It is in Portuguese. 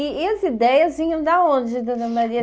E e as ideias vinham da onde, dona Maria?